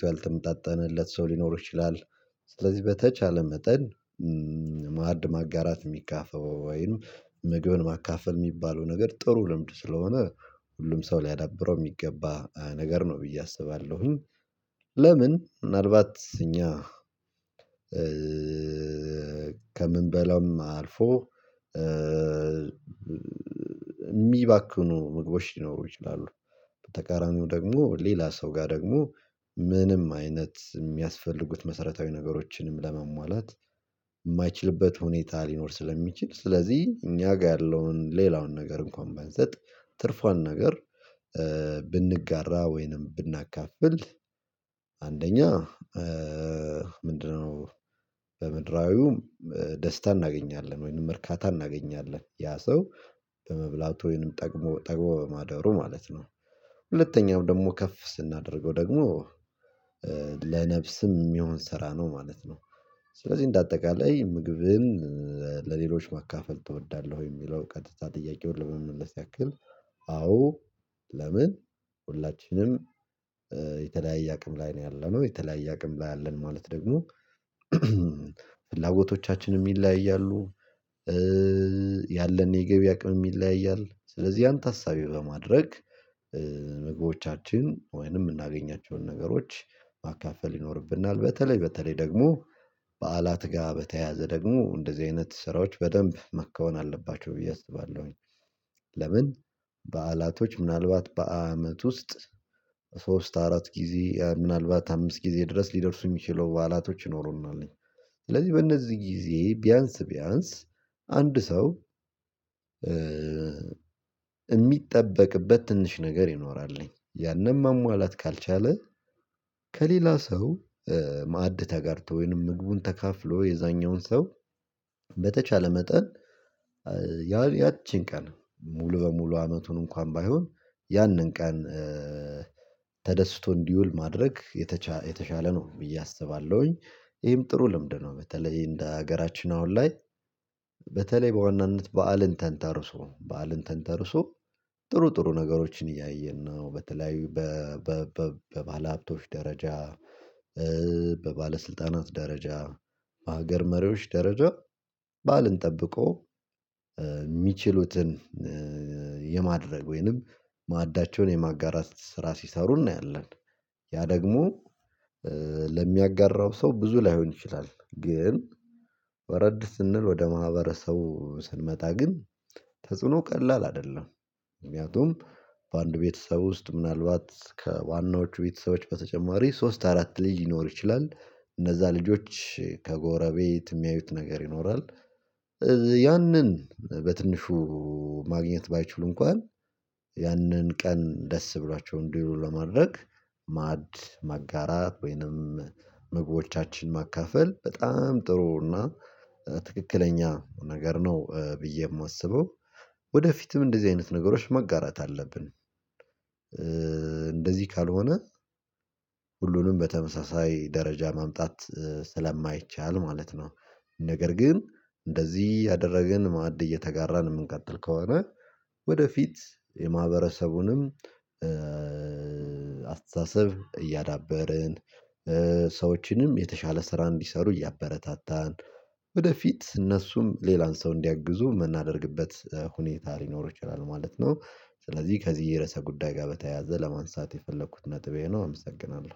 ነው ብዬ አስባለሁ። ስለዚህ በተቻለ መጠን ማዕድ ማጋራት የሚጋፈበው ወይም ምግብን ማካፈል የሚባለው ነገር ጥሩ ልምድ ስለሆነ ሁሉም ሰው ሊያዳብረው የሚገባ ነገር ነው ብዬ አስባለሁ። ለምን ምናልባት እኛ ከምንበላውም አልፎ ሚባክኑ ምግቦች ሊኖሩ ይችላሉ። በተቃራኒው ደግሞ ሌላ ሰው ጋር ደግሞ ምንም አይነት የሚያስፈልጉት መሰረታዊ ነገሮችንም ለመሟላት ማይችልበት ሁኔታ ሊኖር ስለሚችል ስለዚህ እኛ ጋር ያለውን ሌላውን ነገር እንኳን ባንሰጥ ትርፏን ነገር ብንጋራ ወይንም ብናካፍል። አንደኛ ምንድነው በምድራዊውም ደስታ እናገኛለን ወይንም እርካታ እናገኛለን ያ ሰው በመብላቱ ወይንም ጠግሞ ጠግቦ በማደሩ ማለት ነው። ሁለተኛው ደግሞ ከፍ ስናደርገው ደግሞ ለነፍስም የሚሆን ስራ ነው ማለት ነው። ስለዚህ እንደ አጠቃላይ ምግብን ለሌሎች ማካፈል ትወዳለህ ወይ የሚለው ቀጥታ ጥያቄውን ለመመለስ ያክል አዎ። ለምን ሁላችንም የተለያየ አቅም ላይ ነው ያለነው የተለያየ አቅም ላይ አለን ማለት ደግሞ ፍላጎቶቻችን ይለያያሉ። ያለን የገቢ አቅምም ይለያያል ስለዚህ ያን ተሳቤ በማድረግ ምግቦቻችን ወይንም የምናገኛቸውን ነገሮች ማካፈል ይኖርብናል በተለይ በተለይ ደግሞ በዓላት ጋር በተያያዘ ደግሞ እንደዚህ አይነት ስራዎች በደንብ መካወን አለባቸው ብዬ አስባለሁኝ። ለምን በዓላቶች ምናልባት በአመት ውስጥ ሶስት አራት ጊዜ ምናልባት አምስት ጊዜ ድረስ ሊደርሱ የሚችሉ በዓላቶች ይኖሩናል። ስለዚህ በእነዚህ ጊዜ ቢያንስ ቢያንስ አንድ ሰው የሚጠበቅበት ትንሽ ነገር ይኖራል ያንን ማሟላት ካልቻለ ከሌላ ሰው ማዕድ ተጋርቶ ወይንም ምግቡን ተካፍሎ የዛኛውን ሰው በተቻለ መጠን ያቺን ቀን ሙሉ በሙሉ አመቱን እንኳን ባይሆን ያንን ቀን ተደስቶ እንዲውል ማድረግ የተቻለ የተሸለ ነው ብዬ አስባለሁኝ ይሄም ጥሩ ልምድ ነው። በተለይ እንደ ሀገራችን አሁን ላይ በተለይ በዋናነት በዓልን ተንተርሶ በዓልን ተንተርሶ ጥሩ ጥሩ ነገሮችን እያየን ነው በተለያዩ በባለሀብቶች ደረጃ በባለስልጣናት ደረጃ በሀገር መሪዎች ደረጃ ባዓልን ጠብቆ የሚችሉትን የማድረግ ወይንም ማዕዳቸውን የማጋራት ስራ ሲሰሩ እናያለን። ያ ደግሞ ለሚያጋራው ሰው ብዙ ላይሆን ይችላል ግን ወረድ ስንል ወደ ማህበረሰቡ ስንመጣ ግን ተጽዕኖ ቀላል አይደለም። ምክንያቱም በአንድ ቤተሰብ ውስጥ ምናልባት ከዋናዎቹ ቤተሰቦች በተጨማሪ ሶስት አራት ልጅ ልኖር ይችላል እነዚያ ልጆች ከጎረቤት የሚያዩት ነገር ይኖራል። ያንን በትንሹ ማግኘት ባይችሉ እንኳን ያንን ቀን ደስ ብሏቸው እንዲውሉ ለማድረግ ማዕድ መጋራት ወይንም ምግቦቻችን ማካፈል በጣም ጥሩ እና ትክክለኛ ነገር ነው ብዬ የማስበው። ወደፊትም እንደዚህ አይነት ነገሮች መጋራት አለብን እንደዚህ ካልሆነ ሁሉንም በተመሳሳይ ደረጃ ማምጣት ስለማይቻል ማለት ነው። ነገር ግን እንደዚህ እያደረግን ማዕድ እየተጋራን የምንቀጥል ከሆነ ወደፊት የማህበረሰቡንም አስተሳሰብ እያዳበርን ሰዎችንም የተሻለ ስራ እንዲሰሩ እያበረታታን ወደፊት እነሱም ሌላን ሰው እንዲያግዙ የምናደርግበት ሁኔታ ሊኖር ይችላል ማለት ነው። ስለዚህ ከዚህ የረዕሰ ጉዳይ ጋር በተያያዘ ለማንሳት የፈለኩት ነጥብ ይሄ ነው። አመሰግናለሁ